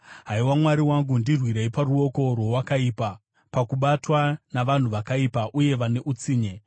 Haiwa Mwari wangu, ndirwirei, paruoko rwowakaipa, pakubatwa navanhu vakaipa uye vane utsinye.